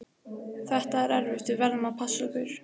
Þetta er erfitt, við verðum að passa okkur.